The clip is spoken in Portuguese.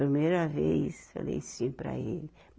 Primeira vez falei sim para ele.